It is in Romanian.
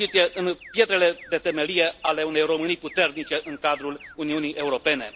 în pietrele de temelie ale unei Românii puternice în cadrul Uniunii Europene.